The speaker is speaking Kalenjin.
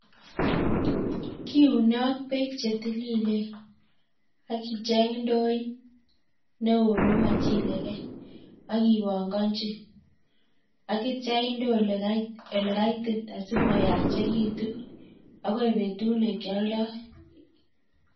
Kiuune ak peek chetililen akicheng' ndooit neoo nemachilegei akipanganchi akitcha inde ole kaitit asimayachekitu akoi betut nekialdai